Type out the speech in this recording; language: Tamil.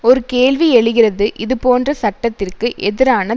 ஒரு கேள்வி எழுகிறது இது போன்ற சட்டத்திற்கு எதிரான